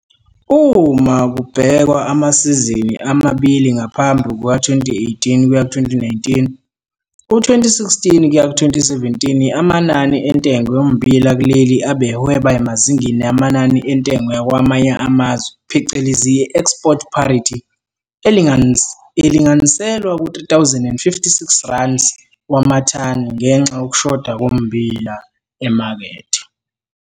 Uma kubhekwa amasizini amabili ngaphambi kuka-2018 kuya 2019, u-2016 kuya 2017 amanani entengo yommbila kuleli abehweba emazingeni amanani entengo yakwamanye amazwe phecelezi i-export parity elinganiselwa ku-R3 056 kwamathani ngenxa yokushoda kommbila emakethe.